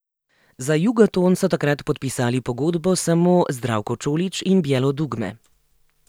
Za Jugoton so takrat podpisali pogodbo samo Zdravko Čolić in Bijelo dugme.